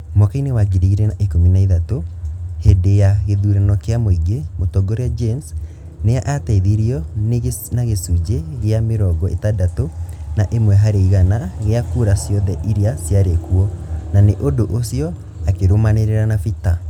Mwaka-inĩ wa ngiri igĩrĩ na ikũmi na ithatũ, hĩndĩ ya gĩthurano kĩa mũingĩ, mũtongoria James nĩ aateithirio na gĩcunjĩ gĩa mĩrongo itandatũ na ĩmwe harĩ igana gĩa kura ciothe iria ciarĩ kuo, na nĩ ũndũ ũcio akĩrũmanĩrĩra na Peter.